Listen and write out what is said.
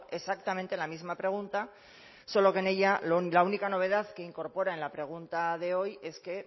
exactamente la misma pregunta solo que en ella la única novedad que incorpora en la pregunta de hoy es que